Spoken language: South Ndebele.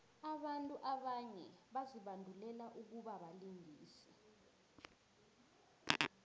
abantu abanye bazibandulele ukubabalingisi